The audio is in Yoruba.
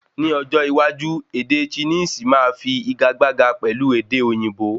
Ni ọjọ iwájú ède chinisi máa fi ìgagbága pẹ̀lú èdè òyìnbó